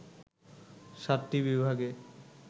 সাতটি বিভাগে